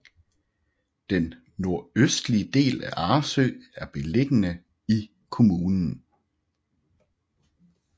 Den nordøstlige del af Arresø er beliggende i kommunen